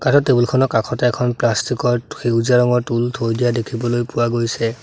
টেবুলখনৰ কাষতে প্লাষ্টিক ৰ সেউজীয়া ৰঙৰ টুল থৈ দিয়া দেখিবলৈ পোৱা গৈছে।